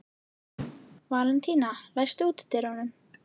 Valentína, læstu útidyrunum.